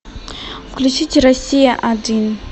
включите россия один